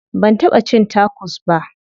Ban taɓa cin tacos ba.